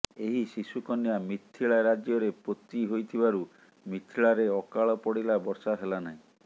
ଏହି ଶିଶୁକନ୍ୟା ମିଥିଳା ରାଜ୍ୟରେ ପୋତି ହୋଇଥିବାରୁ ମିଥିଳାରେ ଅକାଳ ପଡ଼ିଲା ବର୍ଷା ହେଲାନାହିଁ